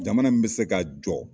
Jamana in bɛ ka se ka jɔ.